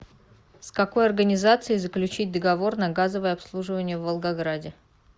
с какой организацией заключить договор на газовое обслуживание в волгограде